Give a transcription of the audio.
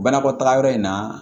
Banakɔtaga yɔrɔ in na